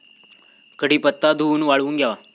कडीपत्ता धूवून वाळवून घ्यावा.